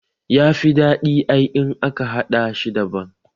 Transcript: Yafi daɗi ai in aka haɗa shi daban